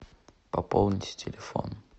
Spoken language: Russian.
пополните телефон